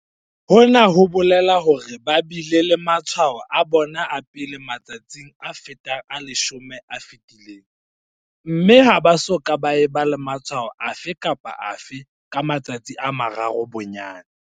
Hona ho bolela hore ba bile le matshwao a bona a pele matsatsing a fetang a 10 a fetileng mme ha ba soka ba eba le matshwao afe kapa afe ka matsatsi a mararo bonyane.